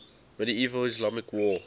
medieval islamic world